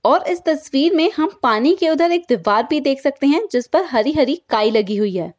और इस तस्वीर में हम पानी के उधर एक दीवार भी देख सकते हैं जिस पर हरी-हरी काई लगी हुई है।